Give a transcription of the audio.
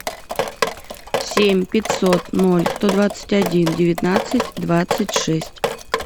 семь пятьсот ноль сто двадцать один девятнадцать двадцать шесть